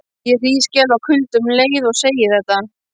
Ég hríðskelf af kulda um leið og ég segi þetta.